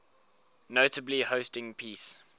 notably hosting peace